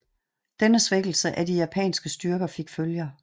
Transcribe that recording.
Denne svækkelse af de japanske styrker fik følger